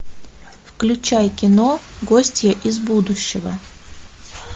включай кино гостья из будущего